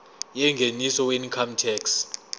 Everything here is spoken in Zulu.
yengeniso weincome tax